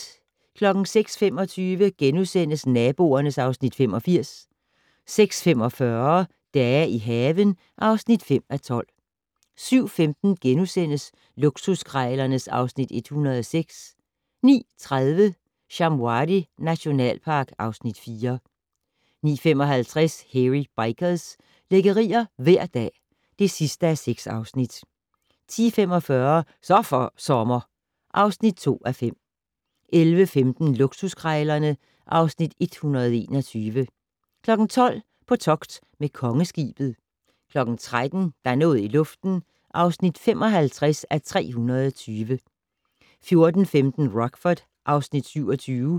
06:25: Naboerne (Afs. 85)* 06:45: Dage i haven (5:12) 07:15: Luksuskrejlerne (Afs. 106)* 09:30: Shamwari nationalpark (Afs. 4) 09:55: Hairy Bikers - lækkerier hver dag (6:6) 10:45: Så for sommer (2:5) 11:15: Luksuskrejlerne (Afs. 121) 12:00: På togt med Kongeskibet 13:00: Der er noget i luften (55:320) 14:15: Rockford (Afs. 27)